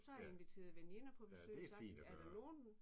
Ja. Ja det fint at gøre